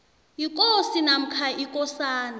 yikosi namkha ikosana